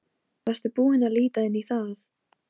Varstu búinn að líta inn í það?